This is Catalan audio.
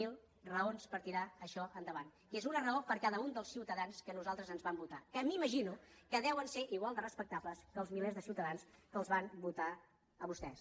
zero raons per tirar això endavant que és una raó per cada un dels ciutadans que a nosaltres ens van votar que m’imagino que deuen ser igual de respectables que els milers de ciutadans que els van votar a vostès